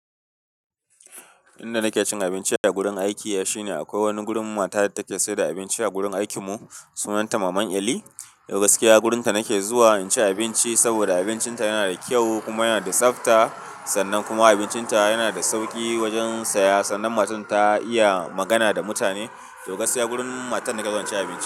Inda nake cin abinci a gurin aiki shine akwai wani gurin mata da take saida abinci a gurin aikin mu. Sunanta maman Eli. Yau gaskiya, wurin ta nake zuwa in ci abinci saboda abincin ta yana da kyau kuma yana da tsafta. Sannan kuma abincin ta yana da sauki wajen saya. Sannan matan ta iya magana da mutane. To gaskiya wurin matan nake zuwa ci abinci.